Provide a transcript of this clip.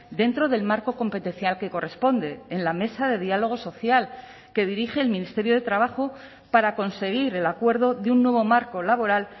dentro del marco competencial que corresponde en la mesa de diálogo social que dirige el ministerio de trabajo para conseguir el acuerdo de un nuevo marco laboral